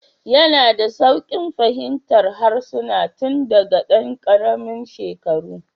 Yana da sauƙin fahimtar harsuna tun daga ɗan ƙaramin shekaru